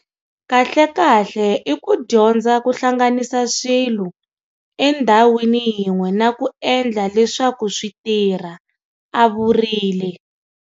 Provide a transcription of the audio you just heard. Kahlekahle i ku dyondza ku hlanganisa swilo endhawini yin'we na ku endla leswaku swi tirha, a vurile.